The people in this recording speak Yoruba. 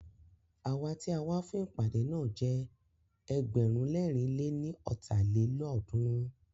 Awa tí a wá fún ìpàdé náà jẹ́ ẹgbẹ̀rún lẹ̀rin lé ní ọ́ta lélọ́ọ̀dúnrún